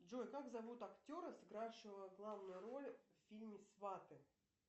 джой как зовут актера сыгравшего главную роль в фильме сваты